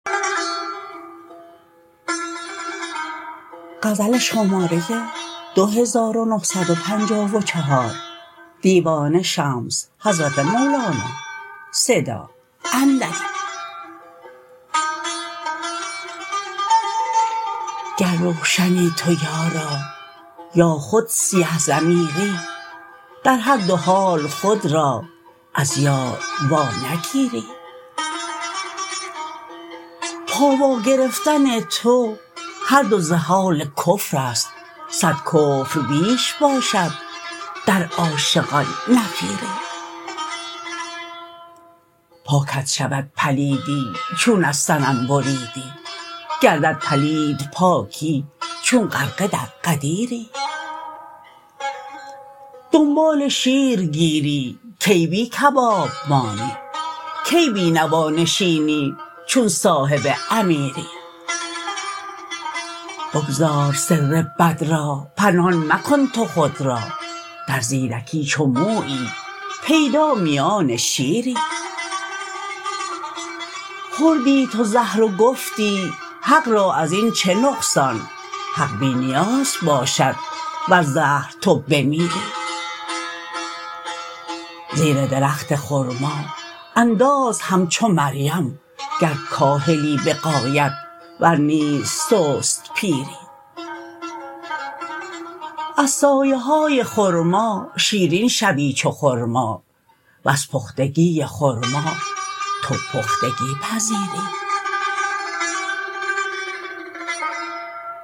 گر روشنی تو یارا یا خود سیه ضمیری در هر دو حال خود را از یار وانگیری پا واگرفتن تو هر دو ز حال کفر است صد کفر بیش باشد در عاشقان نفیری پاکت شود پلیدی چون از صنم بریدی گردد پلید پاکی چون غرقه در غدیری دنبال شیر گیری کی بی کباب مانی کی بی نوا نشینی چون صاحب امیری بگذار سر بد را پنهان مکن تو خود را در زیرکی چو مویی پیدا میان شیری خوردی تو زهر و گفتی حق را از این چه نقصان حق بی نیاز باشد وز زهر تو بمیری زیر درخت خرما انداز همچو مریم گر کاهلی به غایت ور نیز سست پیری از سایه های خرما شیرین شوی چو خرما وز پختگی خرما تو پختگی پذیری